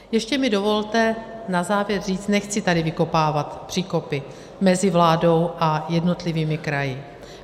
Ještě mi dovolte na závěr říct, nechci tady vykopávat příkopy mezi vládou a jednotlivými kraji.